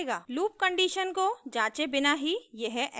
loop condition को जाँचे बिना ही यह ऐसा करेगा